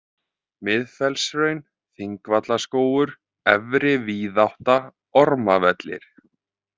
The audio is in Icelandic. Miðfellshraun, Þingvallaskógur, Efri-Víðátta, Ormavellir